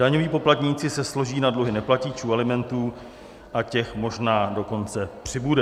Daňoví poplatníci se složí na dluhy neplatičů alimentů, a těch možná dokonce přibude.